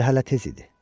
Həm də hələ tez idi.